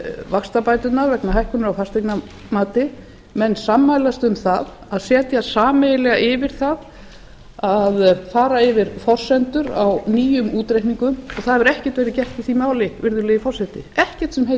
vaxtabæturnar vegna hækkunar á fasteignamati menn sammælast um það að setjast sameiginlega yfir það að fara yfir forsendur á nýjum útreikningum og það hefur ekkert verið gert í því máli virðulegi forseti ekkert sem heitið